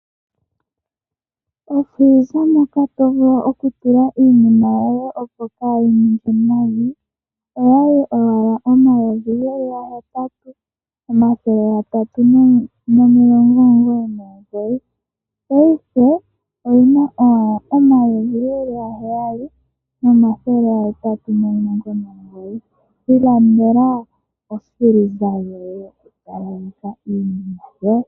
Ofiliza moka to vulu okutula iinima yoye, opo kaayi ninge nayi oya li yi na N$ 8 399, paife oyi na owala N$ 7899. Ilandela ofiliza yoye wu talaleke iinima yoye.